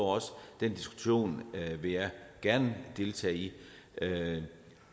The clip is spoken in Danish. den diskussion vil jeg gerne deltage i